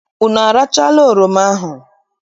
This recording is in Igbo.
Unu arachala oroma ahụ?